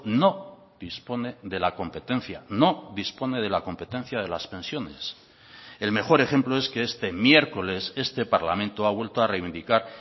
no dispone de la competencia no dispone de la competencia de las pensiones el mejor ejemplo es que este miércoles este parlamento ha vuelto a reivindicar